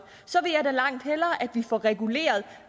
så vil jeg da langt hellere at vi får reguleret